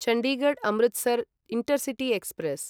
Chandigarh Amritsar intercity express